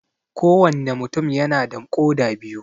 Ko wanne mutum yana da koda biyu